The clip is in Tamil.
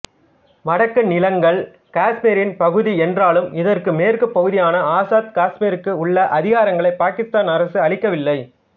வடக்கு நிலங்கள் காஷ்மீரின் பகுதி என்றாலும் இதற்கு மேற்குப் பகுதியான ஆசாத் காஷ்மீருக்கு உள்ள அதிகாரங்களை பாகிஸ்தான் அரசு அளிக்கவில்லை